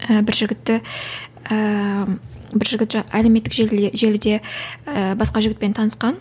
і бір жігітті ііі бір жігіт әлеуметтік желі желіде і басқа жігітпен танысқан